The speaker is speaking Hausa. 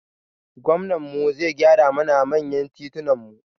Gwamnan mu ya gyara mana manyan titunan mu